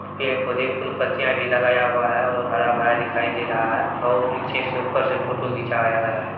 पेड़-पौधे फूल पत्तियाँ भी लगाया हुआ है और हरा-भरा दिखाई दे रहा है बहुत नीचे से ऊपर से फोटो | खिंचवाया गया है।